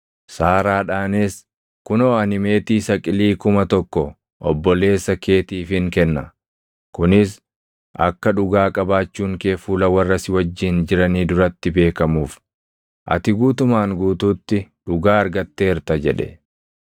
Saaraadhaanis, “Kunoo ani meetii saqilii kuma tokko obboleessa keetiifin kenna. Kunis akka dhugaa qabaachuun kee fuula warra si wajjin jiranii duratti beekamuuf; ati guutumaan guutuutti dhugaa argatteerta” jedhe.